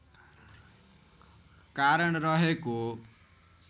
कारण रहेको